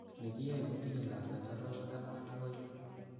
Nekiyoe kotinye lakwet orowek angwan akoi lo.